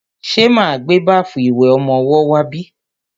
Ṣe ma gbé báfù ìwẹ̀ ọmọwọ́ wá bí?